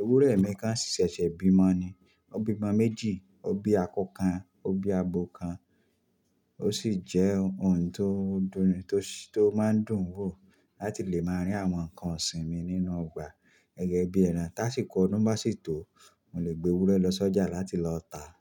Ewúrẹ́ mi kán sì ṣẹ̀ṣẹ̀ bímọ ni. Ó bí omọ méjì, ó bí akọ kan, ó bí abo kan, ó sì jẹ́ ohun tó máa ń dùn wò láti lè máa rí àwọn nǹkan ọ̀sìn mi nínú ọgbà gẹ́gẹ́bí ẹran. Táṣíko ọ̀dun bá sì tó, mò lè gbé ewúrẹ́ lọ sọ́jà láti lọ tà á.